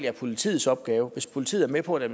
er politiets opgave hvis politiet er med på det